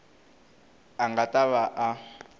a nga ta va a